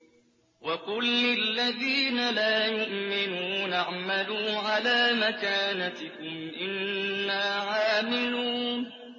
وَقُل لِّلَّذِينَ لَا يُؤْمِنُونَ اعْمَلُوا عَلَىٰ مَكَانَتِكُمْ إِنَّا عَامِلُونَ